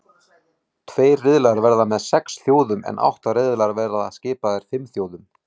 Tveir riðlar verða með sex þjóðum en átta riðlar verða skipaðir fimm þjóðum.